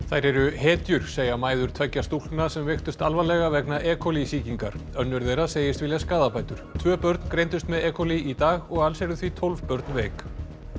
þær eru hetjur segja mæður tveggja stúlkna sem veiktust alvarlega vegna e coli sýkingar önnur þeirra segist vilja skaðabætur tvö börn greindust með e í dag og alls eru því tólf börn veik